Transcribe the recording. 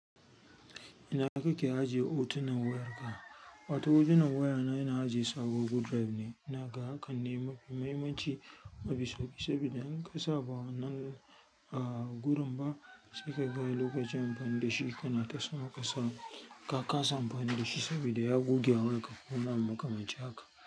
Ina kaka ke ajiye hotunan wayarka, wato hotunan wayana ina ajiye su a Google Drive ne. Ina ga hakan ne mafi mahimmanci, mafi sauƙi saboda in ka saba wannan a gurin ba sai ka gani lokacin bani da shi kana ta sama ka sa ka kasa amfani da shi sabida ya goge a wayanka kuma babu makamancin haka.